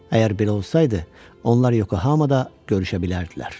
Əgər belə olsaydı, onlar Yokohamada görüşə bilərdilər.